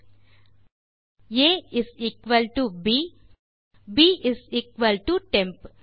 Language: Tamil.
பின்160 A is equal to b160 பின் ப் இஸ் எக்குவல் டோ டெம்ப்